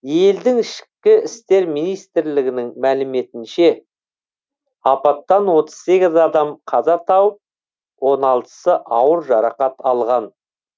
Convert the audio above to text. елдің ішкі істер министрлігінің мәліметінше апаттан отыз сегіз адам қаза тауып он алтысы ауыр жарақат алған